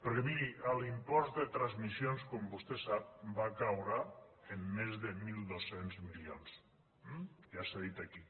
perquè miri l’impost de transmissions com vostè sap va caure en més de mil dos cents milions ja s’ha dit aquí